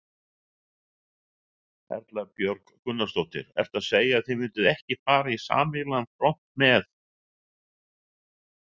Erla Björg Gunnarsdóttir: Ertu að segja að þið mynduð ekki fara í sameiginlegan front með-?